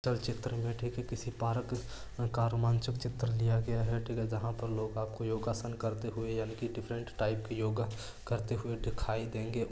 चल चित्र में ठीक है किसी पार्क का रोमांचक चित्र लिया गया है ठीक है जहा पर लोग आपको योगासन करते हुए यानी की डिफरेंट टाइप की योगा करते हुए दिखाई देंगे।